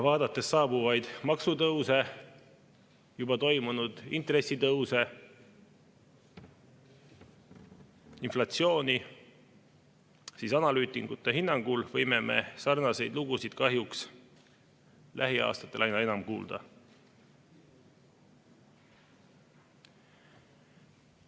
Vaadates saabuvaid maksutõuse, juba toimunud intressitõuse, inflatsiooni, võime analüütikute hinnangul sarnaseid lugusid kahjuks lähiaastatel aina enam kuulda.